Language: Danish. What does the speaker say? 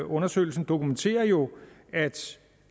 undersøgelsen dokumenterer jo at